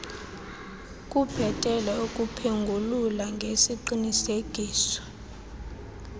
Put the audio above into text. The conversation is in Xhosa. kubhetele ukuphengulula ngesiqinisekiso